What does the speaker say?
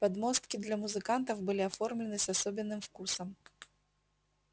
подмостки для музыкантов были оформлены с особенным вкусом